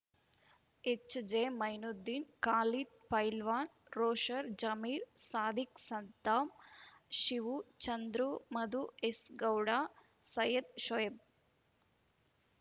ಎಚ್‌ಜೆಮೈನುದ್ದೀನ್‌ Khalid Pailwaan ರೋಷರ್‌ Zameer Sadiq Saddam Shivu Chandru Madhu S Gowda Syed Shoaib